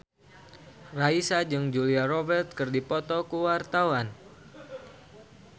Raisa jeung Julia Robert keur dipoto ku wartawan